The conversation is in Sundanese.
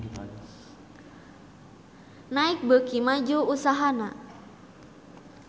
Nike beuki maju usahana